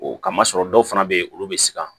O kama sɔrɔ dɔw fana bɛ yen olu bɛ siran